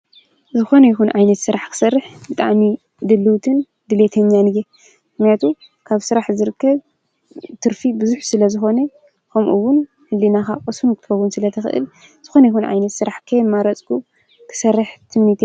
ስራሕ ንወድሰብ ወሳኒ እዩ እዚ ኸዓ ናይ ፅዕነት ጋሪ ኣብ ስራሕ ይርከብ። ስራሕ ምምራፅ ኣየድልን።